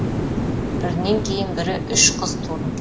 бірінен кейін бірі үш қыз тудым